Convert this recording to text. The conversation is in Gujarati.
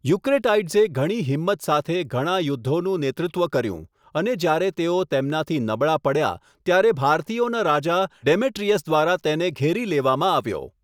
યુક્રેટાઈડ્સે ઘણી હિંમત સાથે ઘણા યુદ્ધોનું નેતૃત્વ કર્યું, અને જ્યારે તેઓ તેમનાથી નબળા પડ્યા, ત્યારે ભારતીયોના રાજા ડેમેટ્રિયસ દ્વારા તેને ઘેરી લેવામાં આવ્યો.